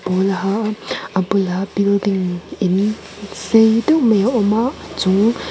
pawl a ha a a bulah building in sei deuh mai a awm a chung--